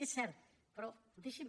és cert però deixi’m